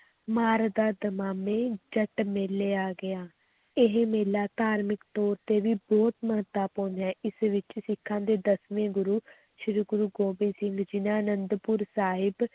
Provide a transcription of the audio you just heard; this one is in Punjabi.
ਮਾਰਦਾ ਦਮਾਮੇ ਜੱਟ ਮੇਲੇ ਆ ਗਿਆ, ਇਹ ਮੇਲਾ ਧਾਰਮਕ ਤੌਰ ਤੇ ਵੀ ਬਹੁਤ ਮਹੱਤਵਪੂਰਨ ਹੈ, ਇਸ ਵਿੱਚ ਸਿੱਖਾਂ ਦੇ ਦਸਵੇਂ ਗੁਰੂ ਸ੍ਰੀ ਗੁਰੂ ਗੋਬਿੰਦ ਸਿੰਘ ਜੀ ਨੇ ਅਨੰਦਪੁਰ ਸਾਹਿਬ